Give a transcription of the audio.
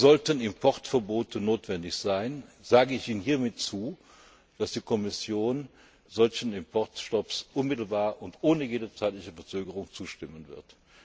Sollten Importverbote notwendig sein, sage ich Ihnen hiermit zu, dass die Kommission solchen Importstopps unmittelbar und ohne jede zeitliche Verzögerung zustimmen wird.